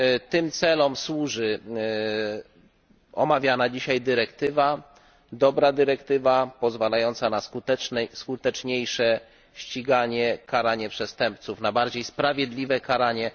Tym celom służy omawiana dzisiaj dyrektywa. To dobra dyrektywa, pozwalająca na skuteczniejsze ściganie i karanie przestępców, na bardziej sprawiedliwe karanie.